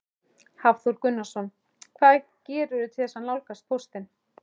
Hafþór Gunnarsson: Hvað gerirðu til þess að nálgast póstinn?